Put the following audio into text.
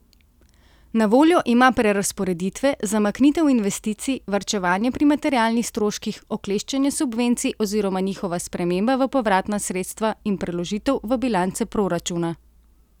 Na voljo ima prerazporeditve, zamaknitev investicij, varčevanje pri materialnih stroških, okleščenje subvencij oziroma njihova sprememba v povratna sredstva in preložitev v bilance proračuna.